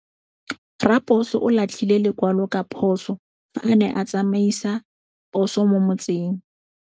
Raposo o latlhie lekwalô ka phosô fa a ne a tsamaisa poso mo motseng.